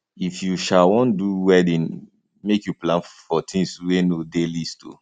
if you um wan do wedding make you plan for tins wey no dey list o